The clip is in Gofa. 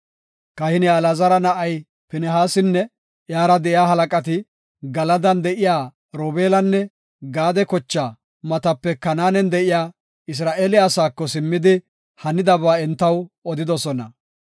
Kahiniya Alaazara na7ay Pinihaasinne iyara de7iya halaqati Galadan de7iya Robeelanne Gaade kochaa matape Kanaanen de7iya Isra7eele asaako simmidi, hanidaba entaw odidosona.